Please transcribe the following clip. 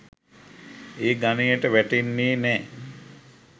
ඒ ගණයට වැටෙන්නේ නෑ.